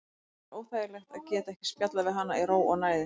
Samt er óþægilegt að geta ekki spjallað við hana í ró og næði.